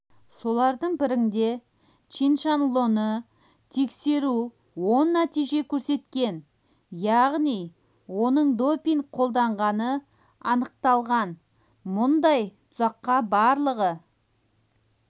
солардың бірінде чиншанлоны тексеру оң нәтиже көрсеткен яғни оның допинг қолданғаны анықталған мұндай тұзаққа барлығы